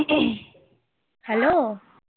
hello